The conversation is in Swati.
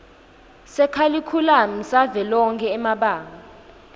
sekharikhulamu savelonkhe emabanga